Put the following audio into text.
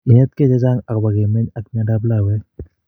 Inetkei chechang akopo keminy ak miondap lawek